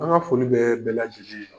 An ka foli bɛ bɛɛlajɛlen ye.